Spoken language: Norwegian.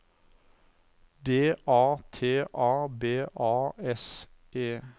D A T A B A S E